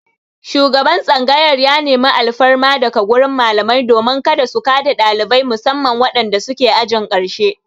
Shugaban tsangayar ya nemi alfarma daga wurin malamai domin kada su ka da ɗalibai musamman wadanda suke ajin ƙarshe.